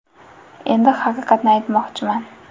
Endi haqiqatni aytmoqchiman.